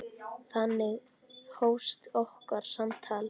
Þannig hófst okkar samtal.